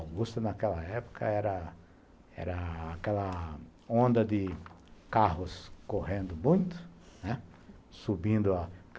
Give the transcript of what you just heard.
A Augusta, naquela época, era era aquela onda de carros correndo muito, né, subindo a.